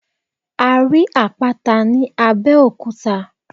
A rí Àpáta ní Abẹ́òkúta.